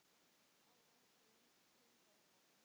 Áður átti Jens Tind Óla.